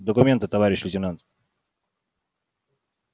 документы товарищ лейтенант